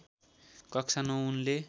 कक्षा ९ उनले